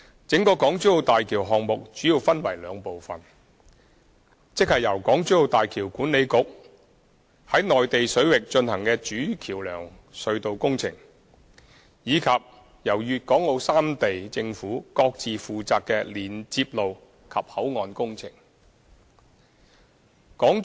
整個大橋項目主要分為兩部分：即由港珠澳大橋管理局在內地水域進行的主橋橋樑隧道工程，以及由粤港澳三地政府各自負責的連接路及口岸工程。